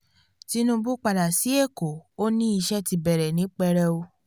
tinúbú padà sí ẹ̀kọ́ ó ní iṣẹ́ ti bẹ̀rẹ̀ ní pẹrẹu